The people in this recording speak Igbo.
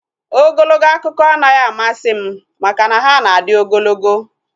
Ogologo akụkọ anaghị amasị m maka na ha na adị ogologo